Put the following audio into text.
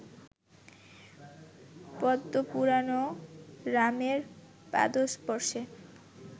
পদ্মপুরাণেও রামের পাদস্পর্শে